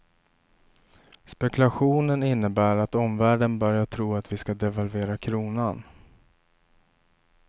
Spekulationen innebär att omvärlden börjar tro att vi ska devalvera kronan.